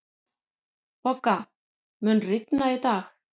Bogga, mun rigna í dag?